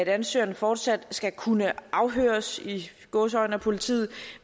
ansøgeren fortsat skal kunne afhøres i gåseøjne af politiet